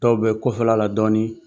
Tɔw bɛ kɔfɛla la dɔɔnin